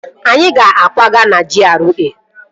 Anyị ga-akwaga na GRA